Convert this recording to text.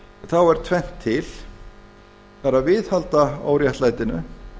þá er tvennt til það er að viðhalda óréttlætinu